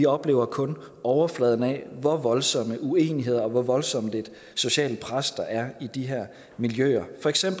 oplever kun overfladen af hvor voldsom uenighed og hvor voldsomt et socialt pres der er i de her miljøer